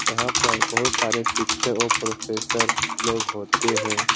यहाँ पर बहुत सारे शिक्षक और प्रोफेसर लोग होते हैं।